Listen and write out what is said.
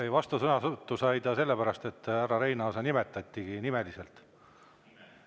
Ei, vastusõnavõtu sai ta sellepärast, et härra Reinaasa nimetati nimeliselt.